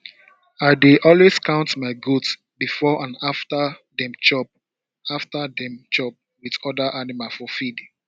i dey always count my goat before and after dem chop after dem chop with other animal for field